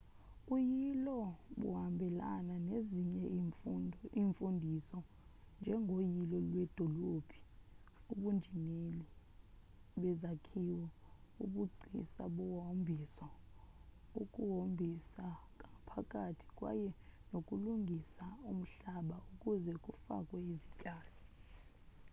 uyilo buhambelana nezinye iimfundiso njengoyilo lwedolophu ubunjineli bezakhiwo ubugcisa bohombiso ukuhombisakwngaaphakathi kwaye nokulungisa umhlaba ukuze kufakwe izityalo